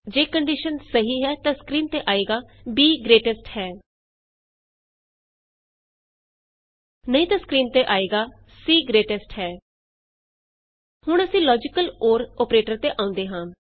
ਜੇ ਕੰਡੀਸ਼ਨ ਸਹੀ ਹੈ ਤਾਂ ਸਕਰੀਨ ਤੇ ਆਏਗਾ b ਗਰੇਟੇਸਟ ਹੈ ਨਹੀਂ ਤਾਂ ਸਕਰੀਨ ਤੇ ਆਏਗਾ c ਗਰੇਟੇਸਟ ਹੈ ਹੁਣ ਅਸੀਂ ਲੋਜੀਕਲ ਅੋਰ ਅੋਪਰੇਟਰ ਤੇ ਆਉਂਦੇ ਹਾਂ